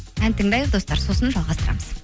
ән тыңдайық достар сосын жалғастырамыз